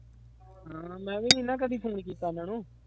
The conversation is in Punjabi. ਹਾਂ ਮੈਂ ਵੀ ਨਾ ਕਦੇ phone ਕੀਤਾ ਉਹਨਾਂ ਨੂੰ।